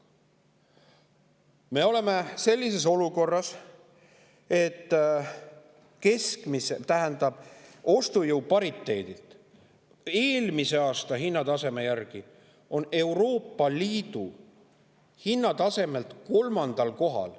Me oleme sellises olukorras, et ostujõu pariteedi, eelmise aasta hinnataseme järgi on Eesti toidukaupade maksumus, hinnatase Euroopa Liidus kolmandal kohal.